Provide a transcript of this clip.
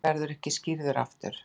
Hann verður ekki skírður aftur.